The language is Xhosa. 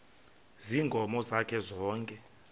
ziinkomo zakhe zonke